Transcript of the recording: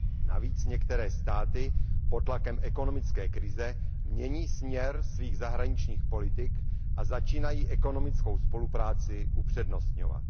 Navíc některé státy pod tlakem ekonomické krize mění směr svých zahraničních politik a začínají ekonomickou spolupráci upřednostňovat.